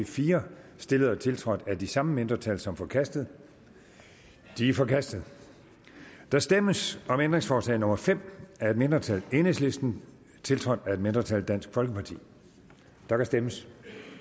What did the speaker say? fire stillet og tiltrådt af de samme mindretal som forkastet de er forkastet der stemmes om ændringsforslag nummer fem af et mindretal tiltrådt af et mindretal der kan stemmes